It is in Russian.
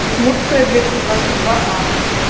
удмуртская двести двадцать два а